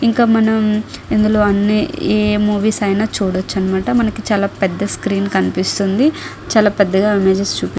ఇంకా మనం ఇందులో అన్నీ ఏ మూవీస్ అయినా చూడచనమాట మనకి చాలా పెద్ద స్క్రీన్ కనిపిస్తుంది చాలా పెద్దగా ఉంది జస్ట్ --